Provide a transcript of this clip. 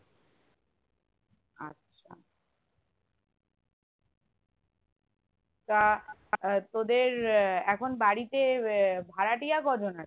আচ্ছা তা আহ তোদের এখন বাড়িতে আহ ভাড়াটিয়া কজন আছে?